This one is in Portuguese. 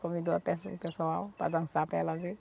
Convidou o pesso o pessoal para dançar para ela ver.